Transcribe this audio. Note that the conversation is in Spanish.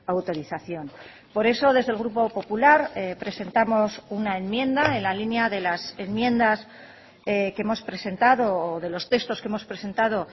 autorización por eso desde el grupo popular presentamos una enmienda en la línea de las enmiendas que hemos presentado de los textos que hemos presentado